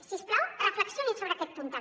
si us plau reflexionin sobre aquest punt també